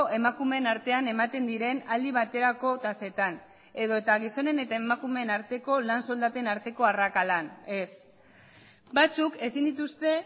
emakumeen artean ematen diren aldi baterako tasetan edota gizonen eta emakumeen arteko lan soldaten arteko arrakalan ez batzuk ezin dituzte